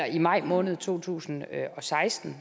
i maj måned to tusind og seksten